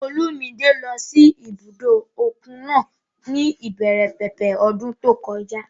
Olúmidé lọ sí ibùdó òkun náà ní ìbẹ̀rẹ̀ pẹ̀pẹ̀ ọdún tó kọjá